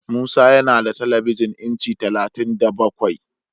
Musa yana da telebijin inci talatin da bakwai.